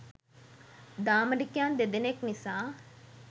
දාමරිකයන් දෙදෙනෙක් නිසා